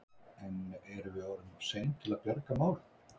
En erum við orðin of sein til að bjarga málum?